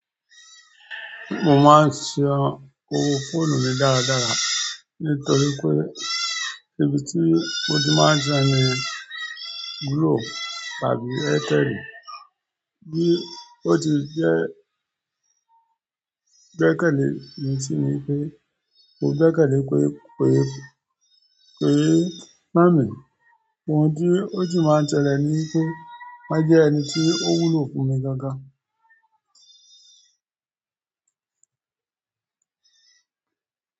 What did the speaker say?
Mò máa ń ṣì ọn òwò fòònù mi dáradára nítorí pé ibi tí mó ti máa ń jẹ yẹn glo tàbí Airtel bí ó ti jẹ́ jẹ́kẹ́lẹ́ nìí sí ni pé mò gbẹ́kẹ́lẹ́ pé pé pé má mi. Òhùn tí ó ṣì máa ń tẹ́lẹ̀ ni pé máà jẹ́ ẹni tí ó wúlò fún mi gàngàn.